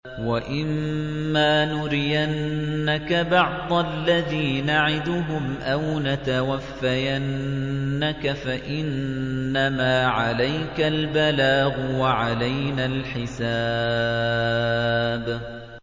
وَإِن مَّا نُرِيَنَّكَ بَعْضَ الَّذِي نَعِدُهُمْ أَوْ نَتَوَفَّيَنَّكَ فَإِنَّمَا عَلَيْكَ الْبَلَاغُ وَعَلَيْنَا الْحِسَابُ